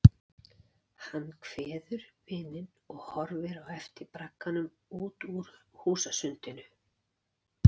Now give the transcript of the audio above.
Hann kveður vininn og horfir á eftir bragganum út úr húsasundinu.